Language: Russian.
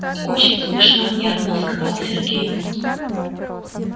очень смешно нервно сказал сергей